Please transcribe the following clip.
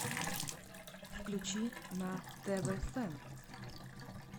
включи на тв фэн